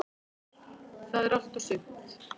Það er allt og sumt.